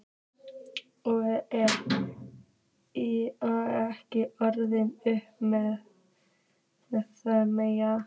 Og ekki orð um það meira!